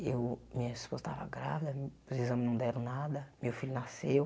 Eu minha esposa estava grávida, os exames não deram nada, meu filho nasceu.